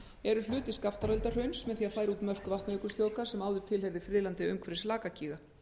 eru hluti skaftáreldahrauns með því að færa út mörk vatnajökulsþjóðgarðs sem áður tilheyrði friðlandi umhverfis lakagíga